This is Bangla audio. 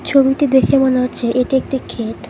ছবিটি দেখে মনে হচ্ছে এটি একটি ক্ষেত।